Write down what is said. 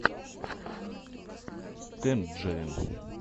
тэнджерин